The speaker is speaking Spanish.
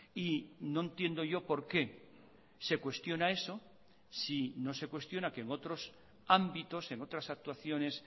y no entiendo yo por qué se cuestiona eso si no se cuestiona que en otros ámbitos en otras actuaciones